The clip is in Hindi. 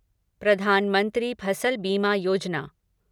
प्रधान मंत्री फसल बीमा योजना